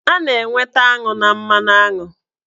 A na-enweta aṅụ na mmanụaṅụ